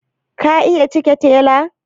Ka iya cike tela?